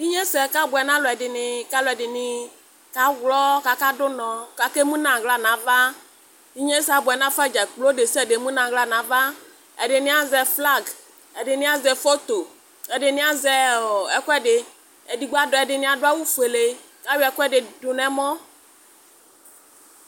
Inyesɛ kaboɛ naluɛdiniKaluɛdini kaɣlɔ, kakadunɔ, kakemunaɣla navaInyesɛ abuɛ nafa dzakplo katani emunaɣla navaƐdini ezɛ flagƐdini azɛ fofoƐdini azɛ ɔɔɔ ɛkʋɛdiƐdini adʋ awu fuele kʋ ayɔ'ɛkʋɛdi dunɛmɔ